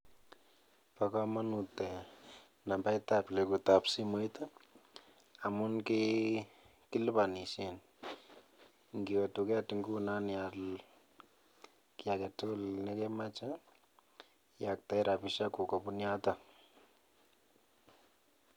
Bo komnut ee nambaitab legutab simoit ii amun kilibonisien inkiwe tuket ingunon ial kii agetugul nekemoche iyoktoi rabisiekuk kobun yoton.